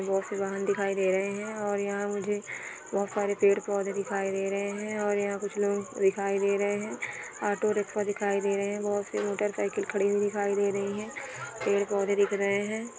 एक वाहन दिखाई दे रहे है। और यहाँ मुझे बहुत सारे पेड़-पौधे दिखाई दे रहे है। और यहाँ कुछ लोग दिखाई दे रहे है। ऑटो रिक्शा दिखाई दे रहे है। बहुत सी मोटरसइकिल खड़ी हुई दिखा दे रही है। पेड़-पौधे दिख रहे है।